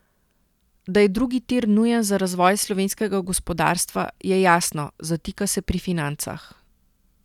Da je drugi tir nujen za razvoj slovenskega gospodarstva, je jasno, zatika se pri financah.